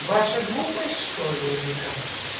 ваша глупость что ли или как